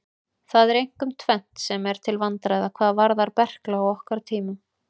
Það er einkum tvennt sem er til vandræða hvað varðar berkla á okkar tímum.